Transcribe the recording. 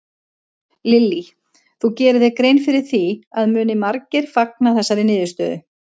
Lillý: Þú gerir þér grein fyrir því að muni margir fagna þessari niðurstöðu?